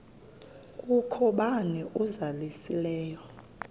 kukho bani uzalusileyo